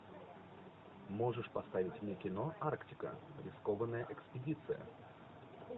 можешь поставить мне кино арктика рискованная экспедиция